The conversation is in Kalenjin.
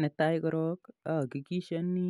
Netai korok ahakikishoni